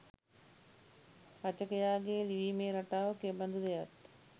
රචකයාගේ ලිවීමේ රටාව කෙබඳුද යත්